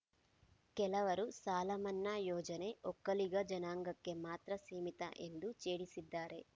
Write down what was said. ಕೆಲವರು ಸಾಲಮನ್ನಾ ಯೋಜನೆ ಒಕ್ಕಲಿಗ ಜನಾಂಗಕ್ಕೆ ಮಾತ್ರ ಸೀಮಿತ ಎಂದು ಛೇಡಿಸಿದ್ದಾರೆ